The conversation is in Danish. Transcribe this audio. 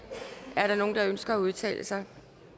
er der nogen der ønsker at udtale sig